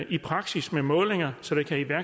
i praksis med målinger så der kan